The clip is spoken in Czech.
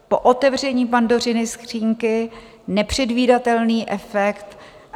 Po otevření Pandořiny skříňky nepředvídatelný efekt.